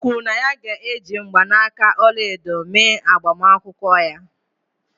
O kwuru na ya ga-eji mgbanaka ọla edo mee agbamakwụkwọ ya.